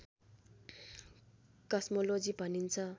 cosmology भनिन्छ